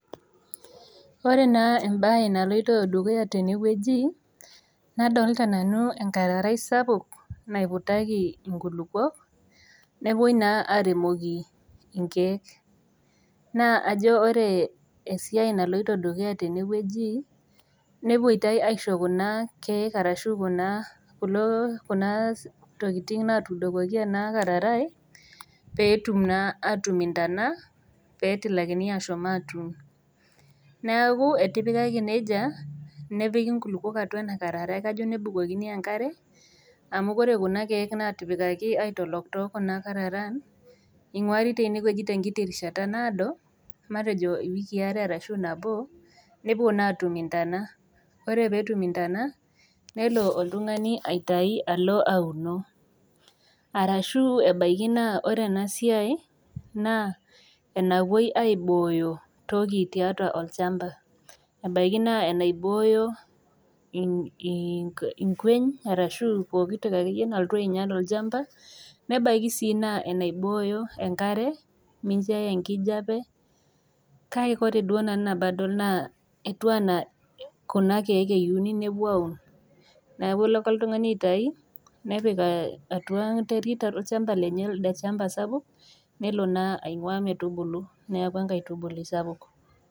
Ore naa embaye naloito dukuya tenewueji nadolta nanu enkararai sapuk naiputaki inkulupuok nepuoi naa aremoki inkeek naa ajo ore esiai naloito dukuya tenewueji nepuoitai aisho kuna keek arashu kuna kulo kuna tokiting natudokoki ena kararai peetum naa atum intana petilakini atum ashom atuun neeku etipikaki nejia nepiki inkulukuok atua ena ararai kajo nebukokini enkare amu kore kuna keek natipikaki aitolok tokuna kararan ing'uari tenewueji tenkiti rishata naado matejo iwikii are arashu nabo nepuo naa atum intana ore petum intana nelo oltung'ani aitai alo aunoo arashu ebaiki naa ore ena siai naa enapuoi aibooyo toki tiatua olchamba ebaiki naa enaibooyo ink inkueny arashu pokitoki akeyie naltu ainyial olchamba nebaiki sii naa enaibooyo enkare mincho eya enkijape kake ore duo nabadol naa etiu anaa kuna keek eyiuni nepuo aun naku elo ake oltung'ani aitai nepik uh atua enterit olchamba lenye elde chamba sapuk nelo naa aing'ua metubulu niaku enkaitubului sapuk.